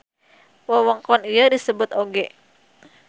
Wewengkon ieu disebut oge.